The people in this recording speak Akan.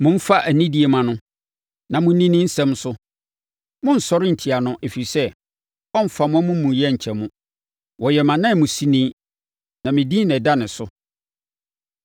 Momfa anidie mma no na monni ne nsɛm so; monnsɔre ntia no, ɛfiri sɛ, ɔremfa mo amumuyɛ nkyɛ mo. Ɔyɛ mʼananmusini, na me din na ɛda ne so.